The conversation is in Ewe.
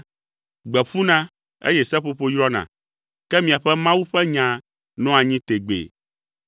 Gbe ƒuna, eye seƒoƒo yrɔna, ke miaƒe Mawu ƒe nya nɔa anyi tegbee.”